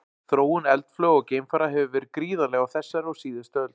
Þróun eldflauga og geimfara hefur verið gríðarleg á þessari og síðustu öld.